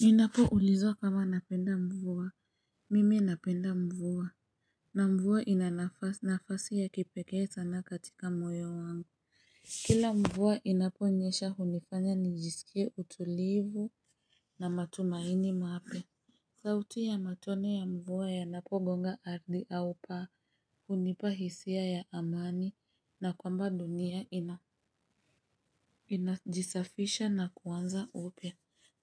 Ninapo ulizwa kama napenda mvua mimi napenda mvua na mvua ina nafasi ya kipekee sana katika moyo wangu kila mvua inaponyesha hunifanya nijisikie utulivu na matumaini mapya. Sauti ya matone ya mvua yanapogonga ardhi au paa unipa hisia ya amani na kwamba dunia inajisafisha na kuanza upya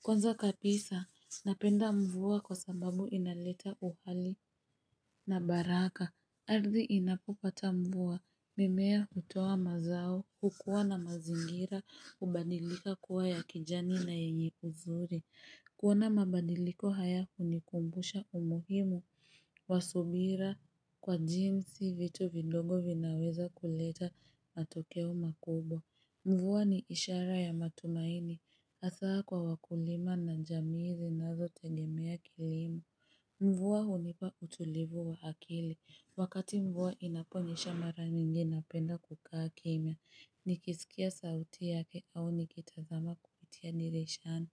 kwanza kabisa, napenda mvua kwa sababu inaleta uhali na baraka. Ardhi inapopata mvua, mimea utoa mazao, hukuwa na mazingira, hubadilika kuwa ya kijani na yenye uzuri. Kuona mabadiliko hayakunikumbusha umuhimu, wa subira kwa jinsi vitu vidogo vinaweza kuleta matokeo makubwa. Mvua ni ishara ya matumaini, hasaa kwa wakulima na jamii zinazotegemea kilimo. Mvua hunipa utulivu wa akili, wakati mvua inaponyesha mara nyingi napenda kukaa kimya, nikisikia sauti yake au nikitazama kupitia dirishani.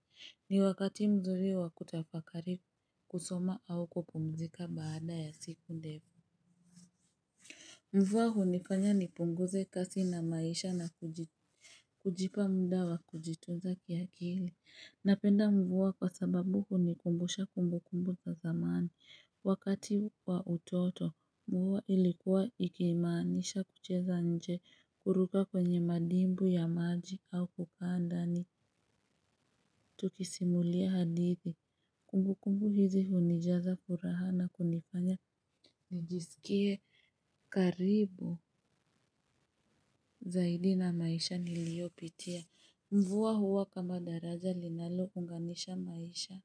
Ni wakati mzuri wa kutafakari kusoma au kupumzika baada ya siku ndefu. Mvua hunifanya nipunguze kasi na maisha na kujipa mda kujitunza kiakili napenda mvua kwa sababu hunikumbusha kumbu kumbu za zamani wakati wa utoto, mvua ilikuwa ikiimanisha kucheza nje kuruka kwenye madimbwi ya maji au kukaa ndani tukisimulia hadithi kumbu kumbu hizi hunijaza furaha na kunifanya nijisikie karibu zaidi na maisha niliopitia mvua huwa kama daraja linalo unganisha maisha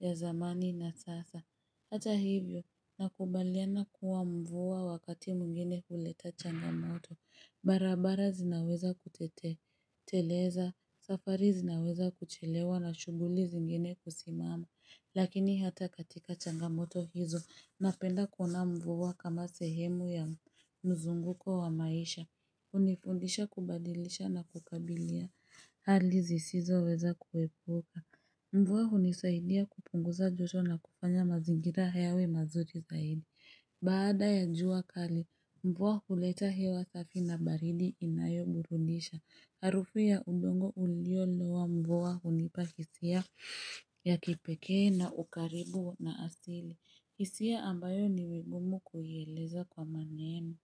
ya zamani na sasa hata hivyo nakubaliana kuwa mvua wakati mwingine huleta changamoto barabara zinaweza kuteleza safari zinaweza kuchelewa na shughuli zingine kusimama lakini hata katika changamoto hizo napenda kuona mvua kama sehemu ya mzunguko wa maisha. Hunifundisha kubadilisha na kukabilia. Hali zisizoweza kuhepuka. Mvua hunisaidia kupunguza joto na kufanya mazingira yawe mazuri zaidi. Baada ya jua kali, mvua huleta hewa safi na baridi inayoburudisha. Harufu ya udongo uliolowa mvua hunipa hisia ya kipekee na ukaribu na asili. Hisia ambayo ni vigumu kuieleza kwa maneno.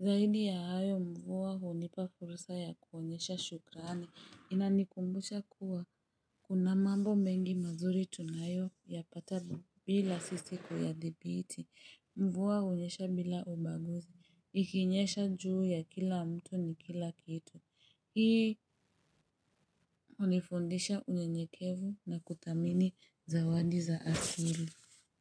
Zaidi ya hayo mvua hunipa fursa ya kuonyesha shukrani. Inanikumbusha kuwa. Kuna mambo mengi mazuri tunayoyapata bila sisi kuyadhibiti. Mvua hunyesha bila ubaguzi. Ikinyesha juu ya kila mtu ni kila kitu. Hii unifundisha unyenyekevu na kutamini zawadi za asili.